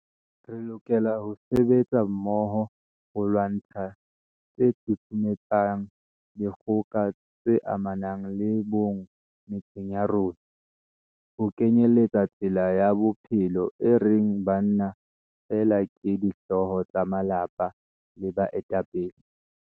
Re lokela ho sebetsa mmoho ho lwantsha tse susumetsang dikgoka tse amanang le bong metseng ya rona, ho kenyeletsa tsela ya bophelo e reng banna feela ke dihlooho tsa malapa le baetapele.